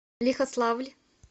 лихославль